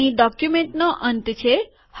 અહીં ડોક્યુમેન્ટનો અંત છે